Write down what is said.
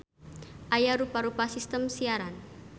Aya rupa-rupa sistem siaran.